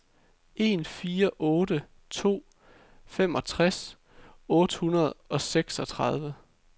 en fire otte to femogtres otte hundrede og seksogtredive